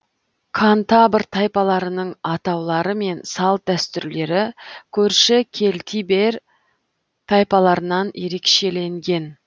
кантабр тайпаларының атаулары мен салт дәстүрлері көрші кельтибер тайпаларынан ерекшеленген